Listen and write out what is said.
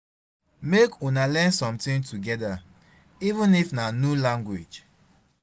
mek una learn somtin togeda even if na nu language